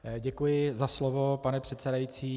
Děkuji za slovo, pane předsedající.